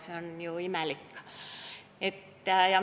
See on ju imelik.